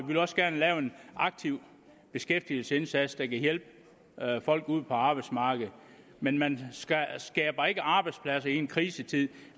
vil også gerne lave en aktiv beskæftigelsesindsats der kan hjælpe folk ude på arbejdsmarkedet men man skaber ikke arbejdspladser i en krisetid